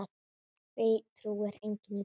Því trúir enginn í dag.